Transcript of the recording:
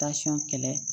kɛlɛ